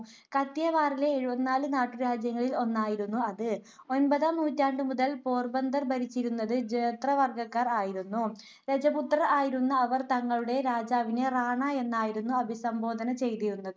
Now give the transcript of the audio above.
കത്തിയവാറിലെ എഴുപത്തിനാല് നാട്ടുരാജ്യങ്ങളിൽ ഒന്നായിരുന്നു അത്. ഒൻപതാം നൂറ്റാണ്ടു മുതൽ പോർബന്തർ ഭരിച്ചിരുന്നത് ജേത്വവർഗക്കാർ ആയിരുന്നു. രജപുത്രർ ആയിരുന്ന അവർ തങ്ങളുടെ രാജാവിനെ റാണ എന്നായിരുന്നു അഭിസംഭോധന ചെയ്തിരുന്നത്.